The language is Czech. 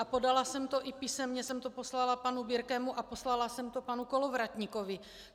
A podala jsem to - i písemně jsem to poslala panu Birkemu a poslala jsem to panu Kolovratníkovi.